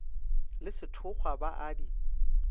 le sethokgwa ba a di